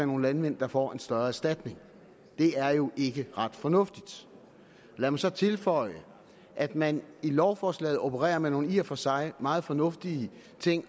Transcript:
nogle landmænd der får en større erstatning det er jo ikke ret fornuftigt lad mig så tilføje at man i lovforslaget opererer med nogle i og for sig meget fornuftige ting